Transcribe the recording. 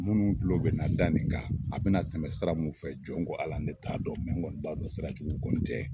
Minnu tulo bɛna da nin kan a bɛna tɛmɛ sira mun fɛ jɔn ko ALA ne t'a dɔn n kɔni b'a dɔn sirajugu kɔni tɛ.